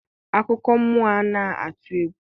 akụkọ mmụọ ana atụ egwu?